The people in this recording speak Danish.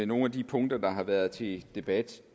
nogle af de punkter der har været til debat